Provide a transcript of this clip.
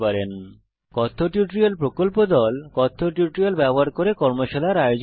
spoken tutorial প্রকল্প দল কথ্য টিউটোরিয়াল গুলি ব্যবহার করে কর্মশালার আয়োজন করে